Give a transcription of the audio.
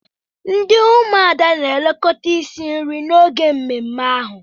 Ndi umuada na-elekọta isi nri n'oge mmemme ahụ.